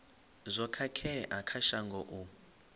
zwo khakhea kha shango u